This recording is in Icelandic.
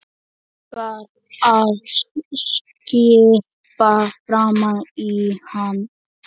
Langar að skyrpa framan í hann.